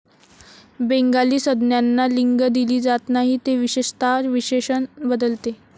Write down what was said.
Bengali संज्ञांना लिंग दिली जात नाही, ते विशेषतः विशेषण बदलते.